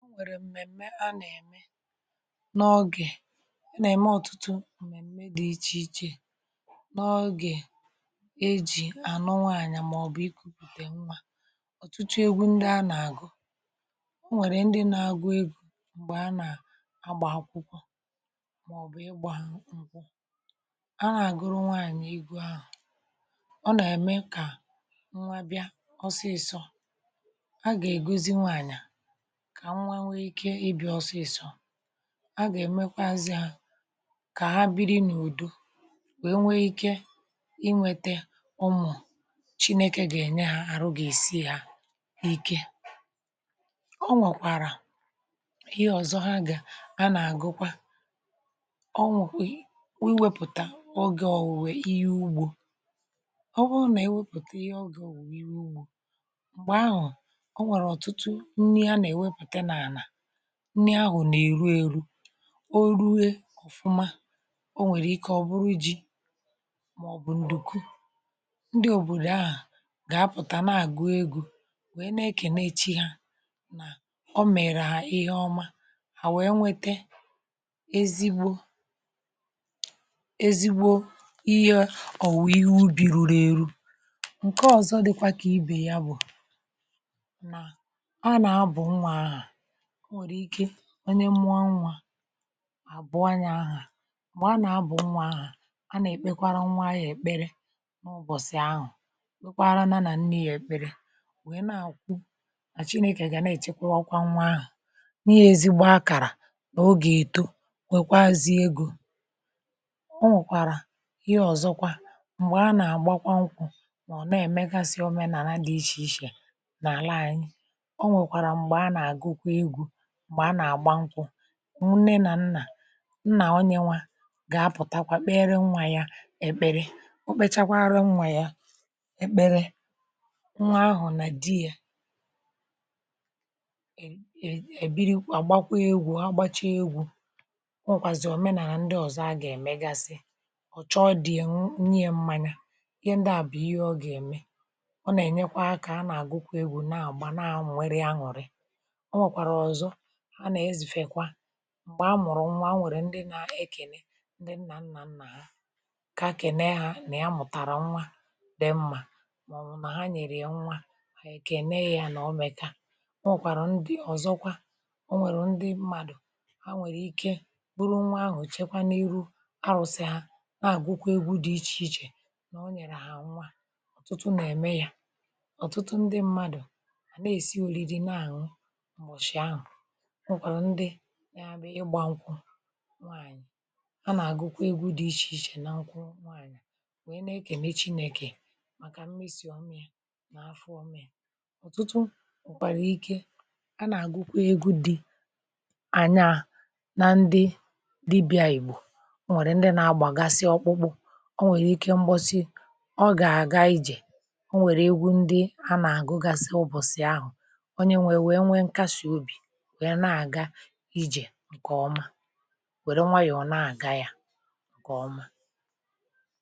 n’ọgwè ǹkẹ̀ nà-eme ọtụtụ m̀mẹ̀m̀me dị̀ ichè ichè n’ọgwè e jì à nọ nwaànyà màọbụ̀ iku̇ pụ̀tà nwà um ọ̀tụtụ egwu ndị a nà-àgụ o nwèrè ndị nȧ-agụ egwu m̀gbè a nà-agbà akwụkwọ màọbụ̀ ịgbȧ ha m̀kpo a nà-àgụrụ nwaànyà igwù ahụ̀ ọ nà-eme kà nwa bịa ọsịsọ ha gà-èmekwa ha kà ha biri n’ùdu wee nwee ike inwėtė ọmụ̀ chineke gènye ha àrụ gà-èsi ha n’ike um ọ nwọ̀kwàrà ihe ọ̀zọ ha gà a nà-àgụkwa ọ nwọ̀kwe wee wepùta ogè ọ̀wụ̀wè ihe ugbȯ ọ bụrụ nà iwepùte ihe ọ gà-àhụ ihe ugbȯ nni ahụ̀ na-èru ėru̇ o ruwe ọ̀fụma o nwèrè ike ọ̀ bụrụ ji̇ màọ̀bụ̀ ǹdùku ndị òbòdò ahụ̀ gà-apụ̀tà na-àgụ egȯ nwèe na-ekè na-echi hȧ nà ọ mèrè ha ihe ọma hà nwèe nwete ezigbo ezigbo ihe ọ̀wụ̀ ihe ubi̇ ruru ėru̇ ǹke ọ̀zọ dị̀kwa kà ibe ya um bụ̀ nà a nà-abụ̀ nwa ahụ̀ onye nwụọ nwa abụ anya ahụ m̀gbè a nà-abụ nwa ahụ a nà-èkpekwara nwa anyi èkpere ọbọchị ahụ̀ e kwaara nà nni èkpere wèe na-àkwụ àchịnị kà gà na-èchekwa nwa ahụ̀ n’ihe ezigbo akàrà nà o gà-èto bekwaa zi egȯ o nwèkwàrà ihe ọ̀zọkwa m̀gbè a nà-àgbakwa nkwù nà ọ̀ na-èmegasị òmenàlà dị ichè ichè nà àla ànyị ǹne nà nnà nnà onye nwa gà-apụ̀takwa kpere nwa ya èkpere ukpechakwa ara nwa ya èkpere nwa ahụ̀ nà di yȧ èbiri gbakwa egwu̇ agbacha egwu̇ o nwèkwàzì òmenàlà ndị ọ̀zọ a gà-èmegasị ọ̀ chọ dịyị nye mmȧnyị̇ ihe ndị à bù ihe ọ gà-ème ọ nà-ènyekwa akȧ a nà-àgụkwa egwu̇ na-àgba naȧmụ̀ nwere aṅụ̀rị̀ ha nà-ezùfèkwa m̀gbè a mụ̀rụ̀ nwa a nwèrè ndị nȧ-ekène ndị nnà nnà nnà ha ka kène ha nà-amụ̀tàrà nwa dee mmà màọbụ̀ nà ha nyèrè ya nwa ànyị kènè ya nà ọ mèkà a nwèkwàrà ndị ọ̀zọkwa onwèrè ndị mmadụ̀ a nwèrè ike bụrụ nwa ahụ̀ chekwanihu arụ̀sị̀ ha na-àgụkwa egwu dị ichè ichè nà o nyèrè hà nwa ọ̀tụtụ nà-ème ya ọ̀tụtụ ndị mmadụ̀ àna-èsi òlìrì na-àṅụ nwụkwàrà ndi ya um bụ̀ ịgbȧ nkwụ nwaànyị̀ a nà-àgụkwa egwu dị̇ ichè ichè nà nkwụ nwaànyị̀ nwèe na-ekè nà chinèkè màkà mmesì ọmi̇ nà afọ ọmi̇ ọ̀tụtụ nkwụkwà egwu dị̇ ànyà na ndi dibị̇ anyị̀ bụ̀ o nwèrè ndi nà-agbàgasị ọkpụkpụ o nwèrè ike mgbọsị ọ gà-àga ijè o nwèrè egwu ndi anà-àgụgasi ụbọ̀sị̀ ahụ̀ onye nwèrè e nwe nkasi obì ǹkọ̀ ọma wèe onwe yọ̀ọ na-àga ya ọ̀kọ̀ ọma